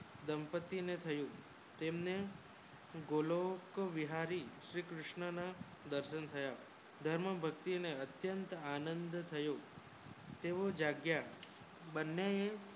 દાંપતી ને થયું તેમને ગોકુલ બિહારી શ્રી કૃષ્ણ ના દર્શન થયા ધર્મ ભક્તિ ને અત્યંત આનંદ થયો તેવુ જગ્યા બને